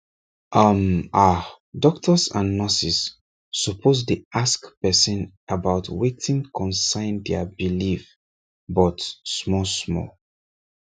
hmmm ah doctors and nurses suppose dey ask person about wetin concern their belief but small small